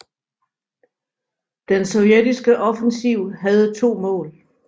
Den sovjetiske offensiv havde to mål